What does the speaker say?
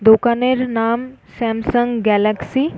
দোকান এর নাম স্যামসাং গ্যালাস্কি ।